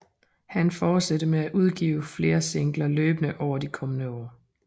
Han fortsatte med at udgive flere singler løbende over de kommende år